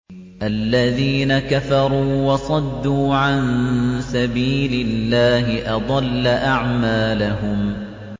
الَّذِينَ كَفَرُوا وَصَدُّوا عَن سَبِيلِ اللَّهِ أَضَلَّ أَعْمَالَهُمْ